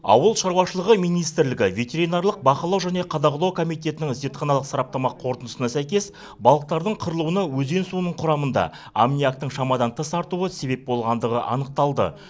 ауыл шаруашылығы министрлігі ветеринарлық бақылау және қадағалау комитетінің зертханалық сараптама қорытындысына сәйкес балықтардың қырылуына өзен суының құрамында аммиактың шамадан тыс артуы себеп болғандығы анықталды